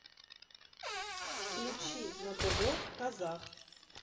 включи на тв казах